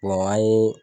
an ye